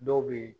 Dɔw be yen